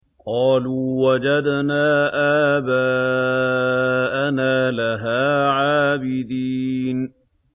قَالُوا وَجَدْنَا آبَاءَنَا لَهَا عَابِدِينَ